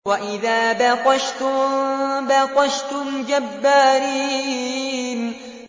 وَإِذَا بَطَشْتُم بَطَشْتُمْ جَبَّارِينَ